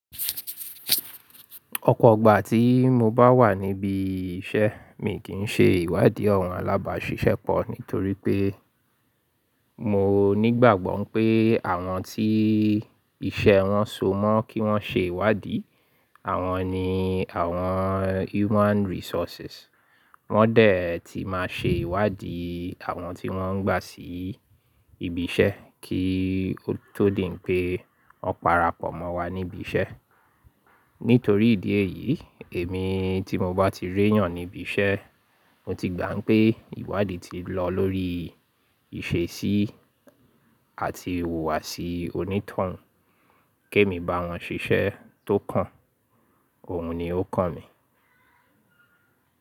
Ọ̀pọ̀ ọgbà tí mo bá wà níbi iṣẹ́, mi kì í ṣe ìwádìí àwọn alábàáṣiṣẹ́ pọ̀ nítorí pé mo nígbàgbọ́ pé àwọn tí iṣẹ́ wọn so mọ́ kí wọ́n ṣe ìwádìí, àwọn ni àwọn human resources. Wọ́n dẹ̀ ti máa ṣe ìwádìí àwọn tí wọ́n ń gbà sí ibi iṣẹ́ kí ó tó di pé wọ́n parapọ̀ mọ́ wa níbi iṣẹ́. Nítorí ìdí èyí, èmi tí mo bá ti rí èèyàn níbi iṣẹ́, mo ti gbà pé ìwádìí ti lọ lórí ìṣesí àti ìhùwàsí onítọ̀hún. Ké mi bá wọn ṣiṣẹ́ tó kàn, òun ni ó kàn mi.